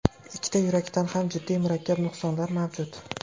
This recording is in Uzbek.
Ikkita yurakda ham jiddiy, murakkab nuqsonlar mavjud.